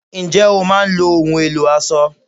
Ǹjẹ́ o máa ń lo ohùn ẹ̀lò aṣọ?